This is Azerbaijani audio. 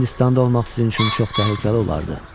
Hindistanda olmaq sizin üçün çox təhlükəli olardı.